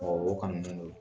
o kanunen don.